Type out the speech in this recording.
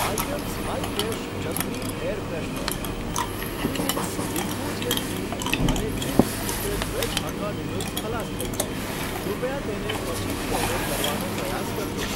Items hi fresh jasmine air freshener, Twinings infusion tea અને Ching's secret veg Hakka noodles ખલાસ થઈ છે, કૃપયા તેને પછીથી ઓર્ડર કરવાનો પ્રયાસ કરજો.